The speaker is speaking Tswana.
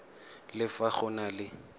le fa go na le